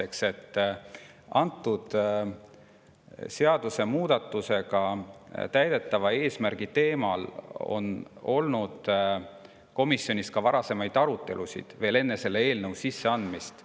Selle seadusemuudatusega täidetava eesmärgi teemal on komisjonis arutelusid olnud ka enne selle eelnõu sisseandmist.